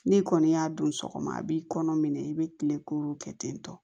N'i kɔni y'a don sɔgɔma a b'i kɔnɔ minɛ i bɛ kile k'olu kɛ ten tɔ